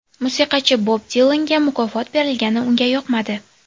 Musiqachi Bob Dilanga mukofot berilgani unga yoqmadi.